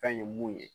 Kan ye mun ye